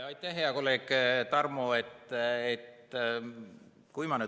Aitäh, hea kolleeg Tarmo!